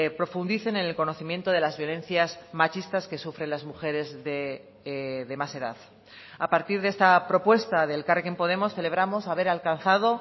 profundicen en el conocimiento de las violencias machistas que sufren las mujeres de más edad a partir de esta propuesta de elkarrekin podemos celebramos haber alcanzado